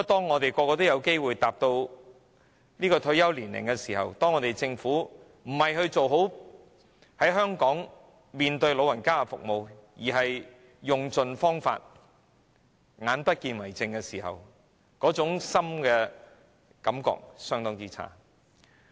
我們每個人也有機會踏入退休年齡，當看到政府不是做好在香港為長者提供的服務，而是用盡方法對長者"眼不見為淨"的時候，那種感覺是相當差的。